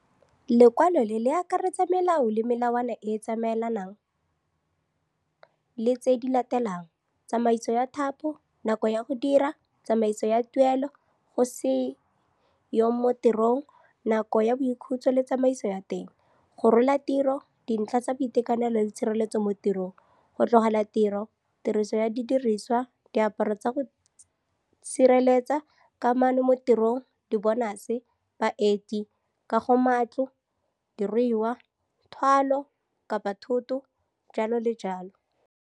Lekwalo le le ka akaretsa melao le melawana e e tsamaelanang le tse di latelang - tsamaiso ya thapo, nako ya go dira, tsamaiso ya tuelo, go se yong mo tirong, nako ya boikhutso le tsamaiso ya teng, go rola tiro, dintlha tsa boitekanelo le tshireletso mo tirong, go tlogela tiro, tiriso ya didiriswa, diaparo tsa go sireletsa, kamano mo tirong, dibonase, baeti, kagomatlo, diruiwa, thwalo-thotho, jalo le jalo.